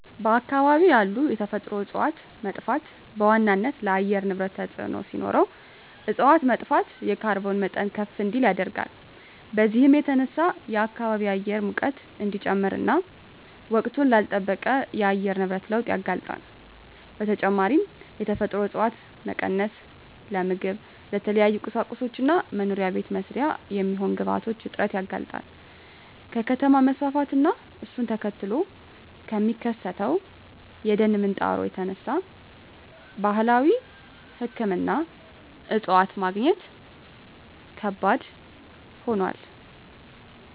በአካባቢ ያሉ የተፈጥሮ እፀዋት መጥፋት በዋናነት ለአየር ንብረት ተፅዕኖ ሲኖረው እፅዋት መጥፋት የካርቦን መጠን ከፍ እንዲል ያደርጋል። በዚህም የተነሳ የከባቢ አየር ሙቀት እንዲጨምር እና ወቅቱን ላልለጠበቀ የአየር ንብረት ለውጥ ያጋልጣል። በተጨማሪም የተፈጥሮ እፀዋት መቀነስ ለምግብ፣ ለተለያዩ ቁሳቁሶች እና መኖሪያ ቤት መስሪያ የሚሆኑ ግብአቶች እጥረት ያጋልጣል። ከከተማ መስፋፋት እና እሱን ተከትሎ ከሚከሰተው የደን ምንጣሮ የተነሳ ባህላዊ ሕክምና እፅዋት ማግኘት ከባድ ሆኗል።